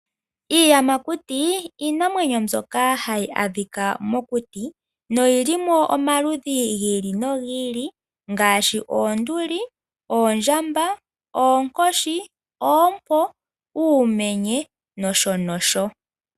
Iiyamakuti iinamwenyo mbyoka hayi adhika mokuti noyili mo omaludhi gi ili nogi ili ngaashi oonduli, oondjamba, oonkoshi, oompo, uumenye nosho tuu.